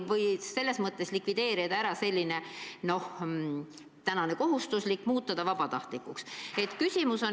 Milleks likvideerida kohustuslik kogumine ja muuta see vabatahtlikuks?